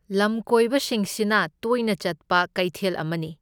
ꯂꯝꯀꯣꯏꯕꯁꯤꯡꯁꯤꯅ ꯇꯣꯏꯅ ꯆꯠꯄ ꯀꯩꯊꯦꯜ ꯑꯃꯅꯤ꯫